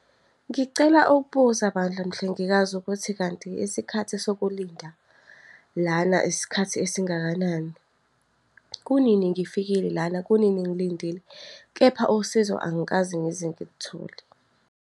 Ngicela ukubuza bandla mhlengikazi ukuthi kanti isikhathi sokulinda lana isikhathi esingakanani? Kunini ngifikile lana? Kunini ngilindile? Kepha usizo angikaze ngize ngiluthole.